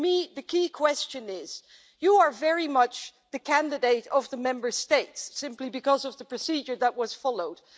For me the key question is you are very much the candidate of the Member States, simply because of the procedure that was followed.